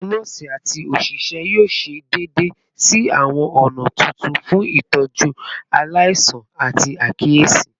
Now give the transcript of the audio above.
Awọn nọọsi ati oṣiṣẹ yoo ṣe deede si awọn ọna tuntun fun itọju alaisan ati akiyesi